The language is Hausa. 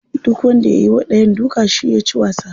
Duk wanda ya yiwa dayan duka shine yaci wasa.